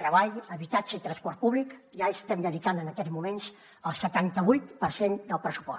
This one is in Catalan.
treball habitatge i transport públic ja estem dedicant en aquests moments el setanta vuit per cent del pressupost